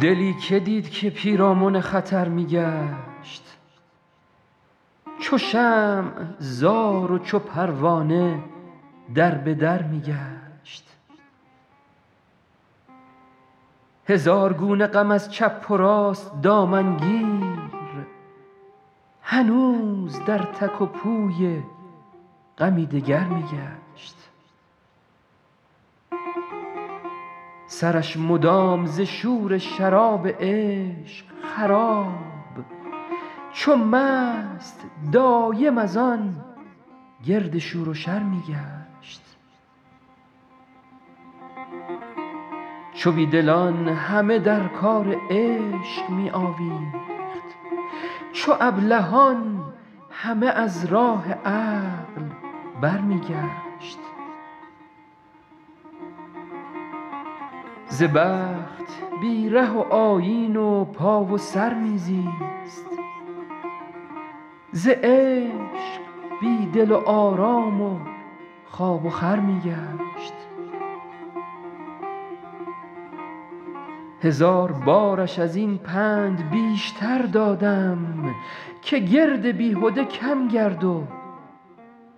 دلی که دید که پیرامن خطر می گشت چو شمع زار و چو پروانه در به در می گشت هزار گونه غم از چپ و راست دامن گیر هنوز در تک و پوی غمی دگر می گشت سرش مدام ز شور شراب عشق خراب چو مست دایم از آن گرد شور و شر می گشت چو بی دلان همه در کار عشق می آویخت چو ابلهان همه از راه عقل برمی گشت ز بخت بی ره و آیین و پا و سر می زیست ز عشق بی دل و آرام و خواب و خور می گشت هزار بارش از این پند بیشتر دادم که گرد بیهده کم گرد و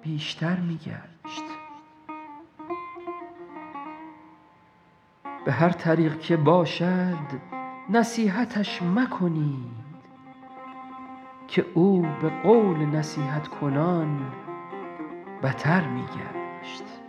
بیشتر می گشت به هر طریق که باشد نصیحتش مکنید که او به قول نصیحت کنان بتر می گشت